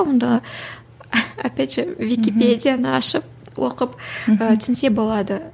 онда опять же википедияны ашып оқып ы түсінсе болады